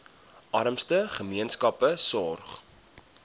armste gemeenskappe sorg